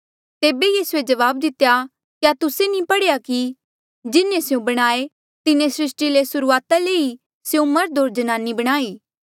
तेबे यीसूए जवाब दितेया क्या तुस्से नी पढ़ेया कि जिन्हें स्यों बणाये तिन्हें सृस्टी रे सुर्हूआता ले ई स्यों मर्ध होर जनानी बणाई